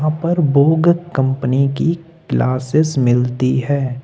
उपर Vogue company की glasses मिलती है।